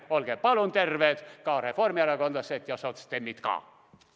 Olge palun terved ka teie, reformierakondlased ja sotsdemmid!